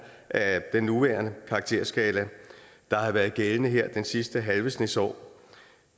af den nuværende karakterskala der har været gældende i den sidste halve snes år